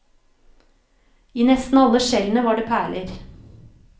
I nesten alle skjellene var det perler.